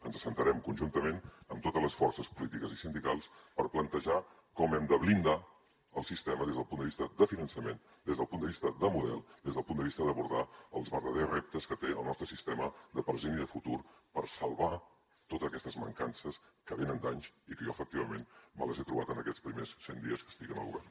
ens asseurem conjuntament amb totes les forces polítiques i sindicals per plantejar com hem de blindar el sistema des del punt de vista de finançament des del punt de vista de model des del punt de vista d’abordar els verdaders reptes que té el nostre sistema de present i de futur per salvar totes aquestes mancances que venen d’anys i que jo efectivament me les he trobat en aquests primers cent dies que estic al govern